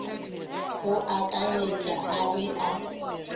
go akanyetša a be a